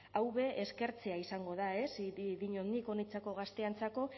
hau be eskertzea izango da ez dinot nik honentzako gazteentzako